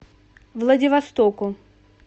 владивостоку